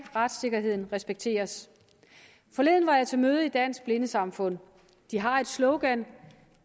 retssikkerheden respekteres forleden var jeg til møde i dansk blindesamfund de har et slogan